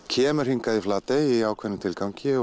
kemur hingað í Flatey í ákveðnum tilgangi